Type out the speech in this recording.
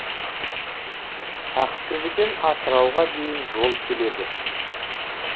ақтөбеден атырауға дейін жол келеді